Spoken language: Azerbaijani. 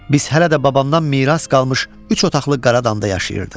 Biz hələ də babamdan miras qalmış üç otaqlı Qaradamda yaşayırdıq.